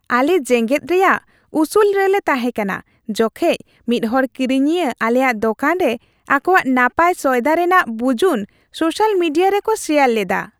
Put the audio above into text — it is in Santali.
ᱟᱞᱮ ᱡᱮᱜᱮᱫ ᱨᱮᱭᱟᱜ ᱩᱥᱩᱞ ᱨᱮᱞᱮ ᱛᱟᱦᱮᱸ ᱠᱟᱱᱟ ᱡᱚᱠᱷᱮᱡ ᱢᱤᱫ ᱦᱚᱲ ᱠᱤᱨᱤᱧᱤᱭᱟᱹ ᱟᱞᱮᱭᱟᱜ ᱫᱚᱠᱟᱱ ᱨᱮ ᱟᱠᱚᱣᱟᱜ ᱱᱟᱯᱟᱭ ᱥᱚᱭᱫᱟ ᱨᱮᱭᱟᱜ ᱵᱩᱡᱩᱱ ᱥᱳᱥᱟᱞ ᱢᱤᱰᱤᱭᱟ ᱨᱮ ᱠᱚ ᱥᱮᱭᱟᱨ ᱞᱮᱫᱟ ᱾